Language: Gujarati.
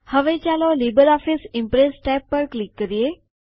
હવે ચાલો લિબ્રિઓફિસ ઇમ્પ્રેસ ટેબ પર ક્લિક કરીએ